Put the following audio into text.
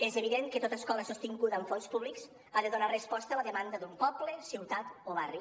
és evident que tota escola sostinguda amb fons públics ha de donar resposta a la demanda d’un poble ciutat o barri